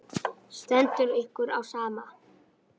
Stendur ykkur á sama?